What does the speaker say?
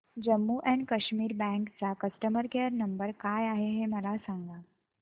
Jammu and Kashmir bank चा customer care number काय आहे हे मला सांगा